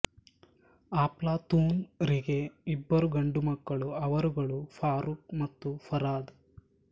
ಅಪ್ಲತೂನ್ ರಿಗೆ ಇಬ್ಬರು ಗಂಡು ಮಕ್ಕಳು ಅವರುಗಳು ಫರೂಕ್ ಮತ್ತು ಫರಾದ್